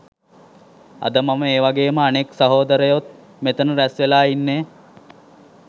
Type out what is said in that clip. අද මම ඒ වගේම අනෙක් සහෝදරයොත් මෙතන රැස් වෙලා ඉන්නේ.